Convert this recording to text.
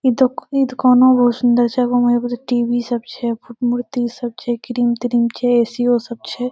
ई दूका ई दुकानों बहुत सुंदर छै अगा में टी.वी. सब छै मूर्ति सब छै क्रीम ट्रीम छै ए.सी. यो सब छै ।